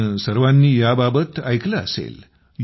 तुम्ही सर्वांनी याबाबत ऐकलं असेल